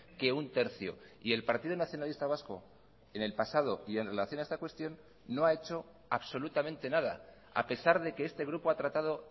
que un tercio y el partido nacionalista vasco en el pasado y en relación a esta cuestión no ha hecho absolutamente nada a pesar de que este grupo ha tratado